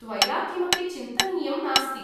त्वया किमपि चिन्तनीयं नास्ति।